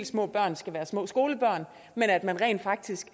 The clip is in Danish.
små børn skal være små skolebørn men at man rent faktisk